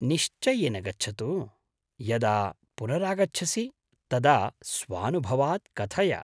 निश्चयेन गच्छतु, यदा पुनरागच्छसि तदा स्वानुभवात् कथय।